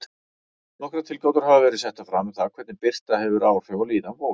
Nokkrar tilgátur hafa verið settar fram um hvernig birta hefur áhrif á líðan fólks.